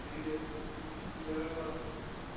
привет включите ералаш